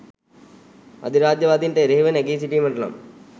අධිරාජ්‍යවාදීන්ට එරෙහිව නැඟී සිටීමට නම්